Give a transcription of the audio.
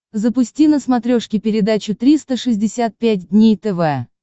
запусти на смотрешке передачу триста шестьдесят пять дней тв